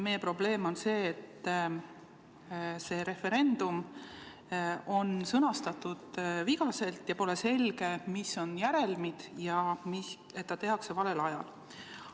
Meie probleem on see, et see referendumi küsimus on sõnastatud vigaselt ja pole selge, mis on järelmid, ja see tehakse valel ajal.